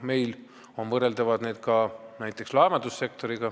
Meil on näiteks võrreldavad ühendused ka laevandussektoris.